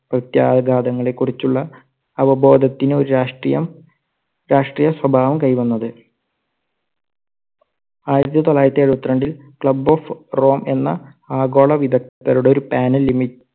പ്രത്യാഘാതങ്ങളെ കുറിച്ചുള്ള അവബോധത്തിന് ഒരു രാഷ്ട്രീയം രാഷ്ട്രീയ സ്വഭാവം കൈവന്നത്. ആയിരത്തി തൊള്ളായിരത്തി എഴുപത്തി രണ്ടിൽ club of rome എന്ന ആഗോള വിദ്ഗ്ധരുടെ ഒരു panel